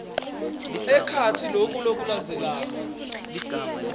ekhatsi loku lokulandzelako